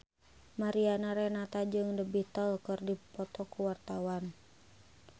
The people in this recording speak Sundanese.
Mariana Renata jeung The Beatles keur dipoto ku wartawan